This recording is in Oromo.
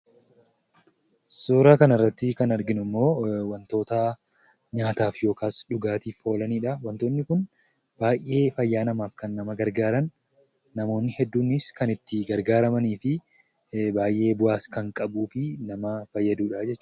Suuraa kanarratti kan arginu immoo wantoota nyaataaf yookiis dhugaatiif oolanidha. Wantoonni kun baay'ee fayyaa namaaf kan nama gargaarran, namoonni hedduunis itti gargaaramanii fi baay'ees bu'aa kan qabuu fi nama fayyaduudha jechuudha.